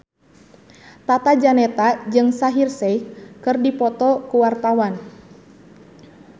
Tata Janeta jeung Shaheer Sheikh keur dipoto ku wartawan